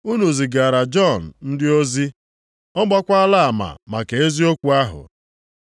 “Unu zigaara Jọn ndị ozi, ọ gbakwaala ama maka eziokwu ahụ.